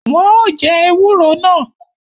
Wọn o jẹ ewúro náà